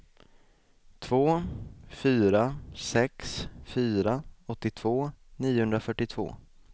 två fyra sex fyra åttiotvå niohundrafyrtiotvå